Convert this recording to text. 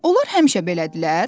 Onlar həmişə belədilər?